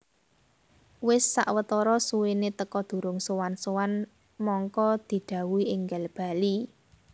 Wis sawetara suwéné teka durung sowan sowan mangka didhawuhi énggal bali